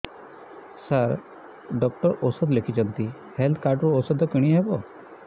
ସାର doctor ଔଷଧ ଲେଖିଛନ୍ତି health card ରୁ ଔଷଧ କିଣି ହେବ